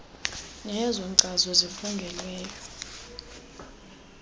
neyezo nkcazo zifungelweyo